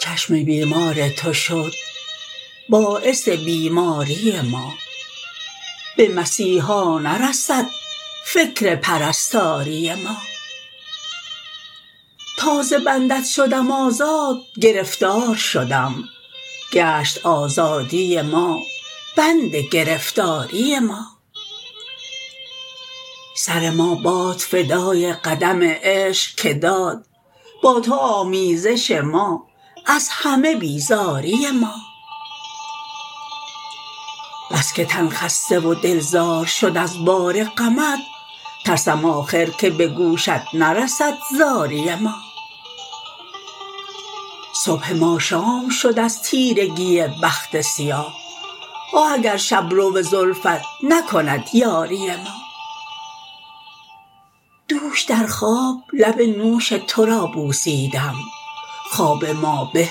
چشم بیمار تو شد باعث بیماری ما به مسیحا نرسد فکر پرستاری ما تا ز بندت شدم آزاد گرفتار شدم گشت آزادی ما بند گرفتاری ما سر ما باد فدای قدم عشق که داد با تو آمیزش ما از همه بیزاری ما بس که تن خسته و دل زار شد از بار غمت ترسم آخر که به گوشت نرسد زاری ما صبح ما شام شد از تیرگی بخت سیاه آه اگر شبرو زلفت نکند یاری ما دوش در خواب لب نوش تو را بوسیدم خواب ما به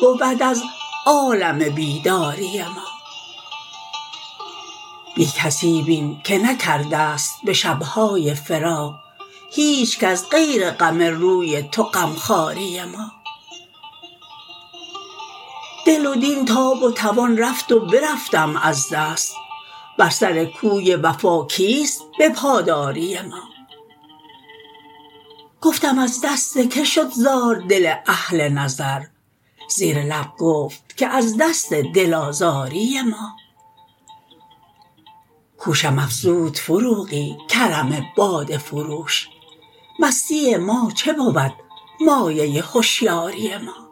بود از عالم بیداری ما بی کسی بین که نکرده ست به شبهای فراق هیچکس غیر غم روی تو غم خواری ما دل و دین تاب و توان رفت و برفتم از دست بر سر کوی وفا کیست به پاداری ما گفتم از دست که شد زار دل اهل نظر زیر لب گفت که از دست دل آزاری ما هوشم افزود فروغی کرم باده فروش مستی ما چه بود مایه هشیاری ما